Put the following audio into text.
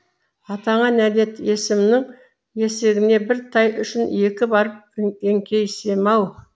атаңа нәлет есімнің есігіне бір тай үшін екі барып еңкейсем ау